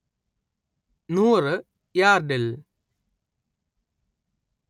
നുറ് യാർഡിൽ